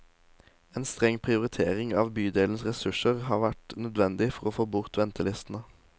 En streng prioritering av bydelens ressurser har vært nødvendig for å få bort ventelistene.